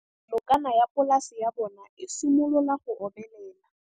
Nokana ya polase ya bona, e simolola go omelela.